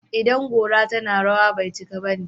idan gora tana rawa, bai cika bane